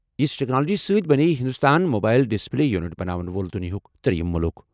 یژھہِ ٹیکنالوجی سۭتۍ بَنیٚیہِ ہِنٛدوستان موبایِل ڈسپلے یوٗنِٹ بناون وول دُنیاہُک ترٛیٚیِم مُلک۔